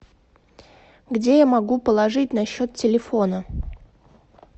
где я могу положить на счет телефона